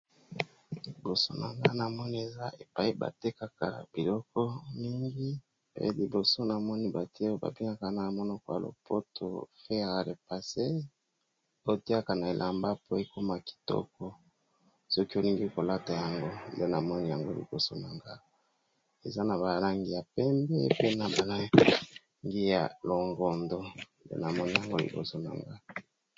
Liboso na nga namoni eza epayi ba tekaka biloko mingi pe liboso namoni batie oyo ba bengaka na monoko ya lopoto fere a repasser, oyotiaka na elamba po ekoma kitoko soki olingi kolata yango, nde namoni yango liboso nanga eza na ba langi ya pembe pe na ba langi ya longondo nde namoni yango liboso nanga.